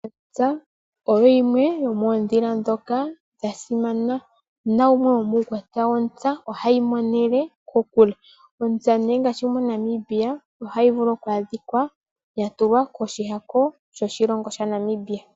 Ontsa oyimwe yomoondhila ndhoka dhasimana, naumwe wo muukwatya wo ntsa, oha yi monele kokule. MoNamibia oho yi mono yatulwa koshihako shoshilongo shaNamibia.